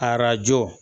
Arajo